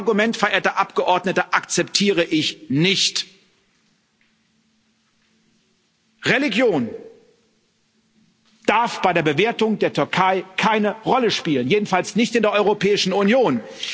Aber ein Argument, verehrte Abgeordnete, akzeptiere ich nicht Religion darf bei der Bewertung der Türkei keine Rolle spielen, jedenfalls nicht in der Europäischen Union.